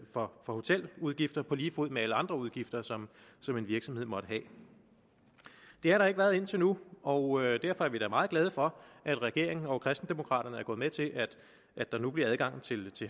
for hoteludgifter på lige fod med alle andre udgifter som som en virksomhed måtte have det har der ikke været indtil nu og derfor er vi da meget glade for at regeringen og kristendemokraterne er gået med til at der nu bliver adgang til